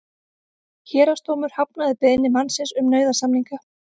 Héraðsdómur hafnaði beiðni mannsins um nauðasamninga